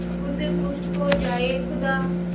खुद खुश हो जाए खुदा